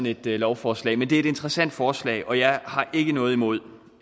et lovforslag men det er et interessant forslag og jeg har ikke noget imod